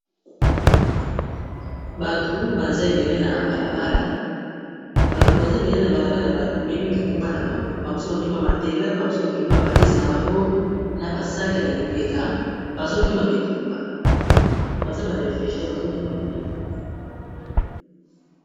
Batu baza ebele na balabala, bato baza ebele na bala bala ba memi mikumba na bango ba misusu bamemi matela ba mosusu bamemi ba valise na bango na ba sac na lipeka baza ba réfugie bazokima bitumba.